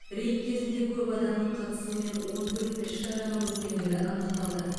рейд кезінде көп адамның қатысуымен он төрт іс шараның өткендігі анықталды